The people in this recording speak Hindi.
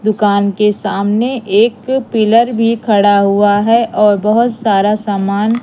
दुकान के सामने एक पिलर भी खड़ा हुआ है और बहोत सारा सामान।